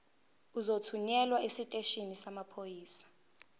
uzothunyelwa esiteshini samaphoyisa